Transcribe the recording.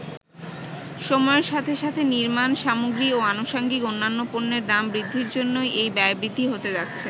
সময়ের সাথে সাথে নির্মাণ সামগ্রী ও আনুসাঙ্গিক অন্যান্য পণ্যের দাম বৃদ্ধির জন্যই এই ব্যয় বৃদ্ধি হতে যাচ্ছে।